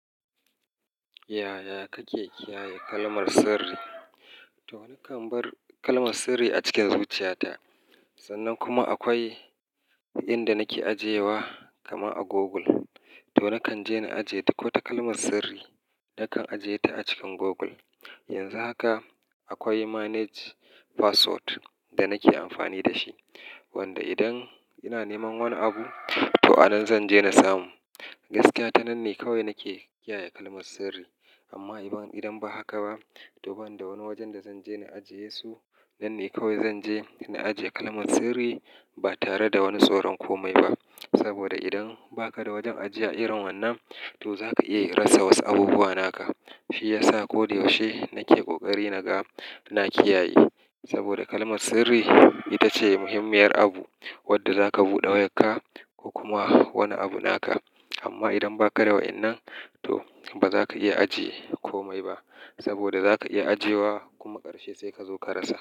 Yaya kake kiyaye kalmar sirri? To nakan bar kalmar sirri a cikin zuciyata. Sannan kuma akwai inda nake ajiyewa, kamar a Google. To nakan je na ajiye duk wata kalmar sirri, nakan ajiye ta a cikin Google. Yanzu haka akwai manage password da nake amfani da shi, wanda idan ina neman wani abu, to anan zan je na samu. Gaskiya ta nan ne kawai nake kiyaye kalmar sirri. Amma idan ba haka ba, to ban da wani wajen da zan je na ajiye su, nan ne kawai zan je na ajiye kalmar sirri ba tare da wani tsoron komai ba. Saboda idan ba ka da wajen ajiya irin wannan, to za ka iya rasa wasu abubuwa naka. Shi yasa koda yaushe nake ƙoƙari na ga na kiyaye, saboda kalmar sirri ita ce muhimmiyar abu wadda za ka buɗe wayarka ko kuma wani abu naka. Amma idan ba ka da wa'yannan, to ba za ka iya ajiye komai ba saboda za ka iya ajiyewa kuma ƙarshe sai ka zo ka rasa.